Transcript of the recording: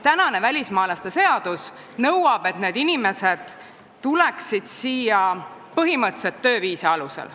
Praegune välismaalaste seadus nõuab, et need inimesed tuleksid siia põhimõtteliselt tööviisa alusel.